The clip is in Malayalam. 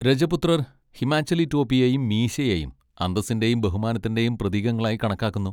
രജപുത്രർ ഹിമാചലി ടോപ്പിയെയും മീശയെയും അന്തസ്സിന്റെയും ബഹുമാനത്തിന്റെയും പ്രതീകങ്ങളായി കണക്കാക്കുന്നു.